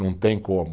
Não tem como.